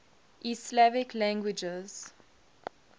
east slavic languages